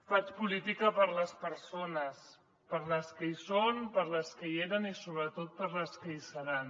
faig política per a les persones per a les que hi són per a les que hi eren i sobretot per a les que hi seran